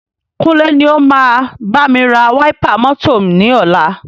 Kúnlé ni o máa bámi ra wáípà mọ́tọ̀ ni ọ̀la.